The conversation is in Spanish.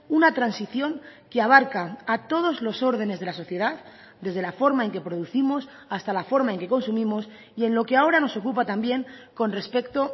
una transición que abarca a todos los órdenes de la sociedad desde la forma en que producimos hasta la forma en que consumimos y en lo que ahora nos ocupa también con respecto